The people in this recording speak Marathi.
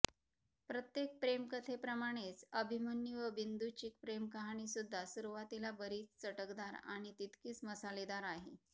प्रत्येक प्रेमकथेप्रमाणेच अभिमन्यू व बिंदूची प्रेमकहाणी सुद्धा सुरुवातीला बरीच चटकदार आणि तितकीच मसालेदार आहे